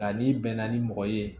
Nka n'i bɛnna ni mɔgɔ ye